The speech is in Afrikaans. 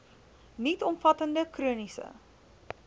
nuut omvattende chroniese